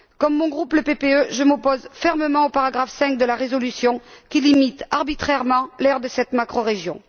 Comme mon groupe, le PPE, je m'oppose fermement au paragraphe 5 de la résolution, qui limite arbitrairement l'aire de cette macrorégion.